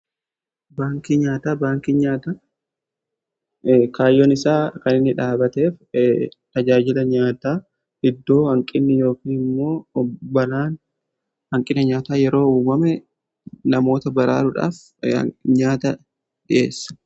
Baankii nyaataa: Baankiin nyaata kaayyoon isaa kan inni dhaabateef tajaajila nyaataa iddoo hanqinni yookiin immoo bara hanqinni nyaataa yeroo uumame namoota baraaruudhaaf nyaata dhi'eessa.